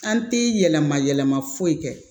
An tɛ yɛlɛma yɛlɛma foyi kɛ